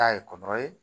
Taa ye kɔrɔ ye